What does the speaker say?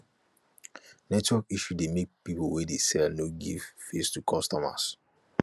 network issuse de make pipo wey dey sell no give face to customers